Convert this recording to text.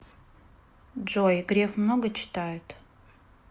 джой греф много читает